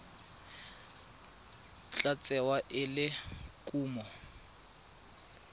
tla tsewa e le kumo